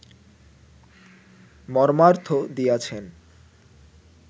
মর্মার্থ দিয়াছেন